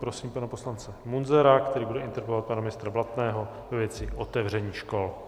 Prosím pana poslance Munzara, který bude interpelovat pana ministra Blatného ve věci otevření škol.